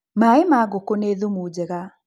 Mai ma ngũkũ nĩ thumu njega